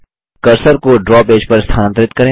cursor को draw page पर स्थनांतरित करें